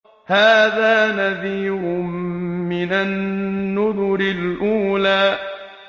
هَٰذَا نَذِيرٌ مِّنَ النُّذُرِ الْأُولَىٰ